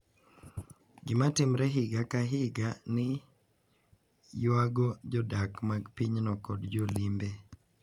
Gima timore higa ka higa ni ywayo jodak mag pinyno kod jolimbe,